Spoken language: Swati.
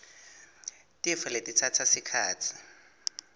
tifo letitsatsa sikhatsi